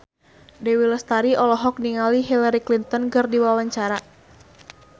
Dewi Lestari olohok ningali Hillary Clinton keur diwawancara